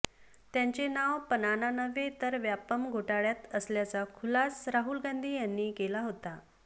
त्यांचे नाव पनाना नव्हे तर व्यापम घोटाळय़ात असल्याचा खुलास राहुल गांधी केला होता